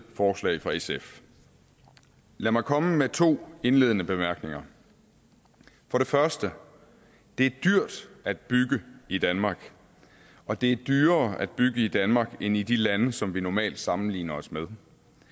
forslag fra sf lad mig komme med to indledende bemærkninger for det første det er dyrt at bygge i danmark og det er dyrere at bygge i danmark end i de lande som vi normalt sammenligner os med